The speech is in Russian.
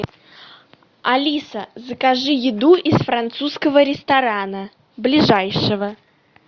алиса закажи еду из французского ресторана ближайшего